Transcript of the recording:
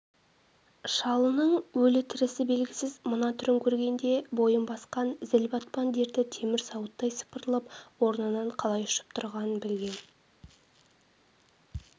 шалының өлі-тірісі белгісіз мына түрін көргенде бойын басқан зіл-батпан дерті темір сауыттай сыпырылып орнынан қалай ұшып тұрғанын білген